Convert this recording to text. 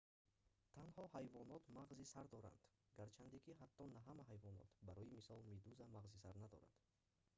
танҳо ҳайвонот мағзи сар доранд гарчанде ки ҳатто на ҳама ҳайвонот; барои мисол медуза мағзи сар надорад